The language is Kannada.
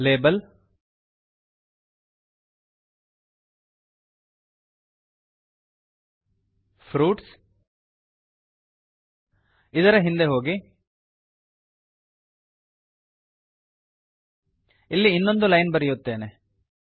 ಲೇಬಲ್ ಫ್ರೂಟ್ಸ್ ಇದರ ಹಿಂದೆ ಹೋಗಿ ಇಲ್ಲಿ ಇನ್ನೊಂದು ಲೈನ್ ಬರೆಯುತ್ತೇನೆ